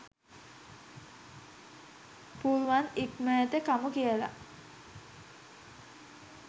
පුළුවන් ඉක්මනට කමු කියල